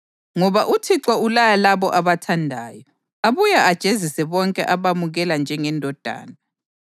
ngoba uThixo ulaya labo abathandayo, abuye ajezise bonke abamukela njengendodana.” + 12.6 Izaga 3.11-12